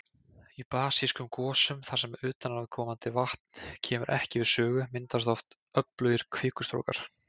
Í basískum gosum þar sem utanaðkomandi vatn kemur ekki við sögu, myndast oft öflugir kvikustrókar.